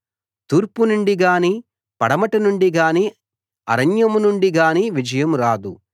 తూర్పునుండి గానీ పడమటి నుండి గానీ అరణ్యం నుండి గానీ విజయం రాదు